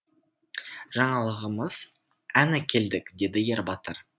жаңалығымыз ән әкелдік деді ербатыр